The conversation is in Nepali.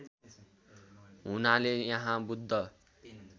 हुनाले यहाँ बुद्ध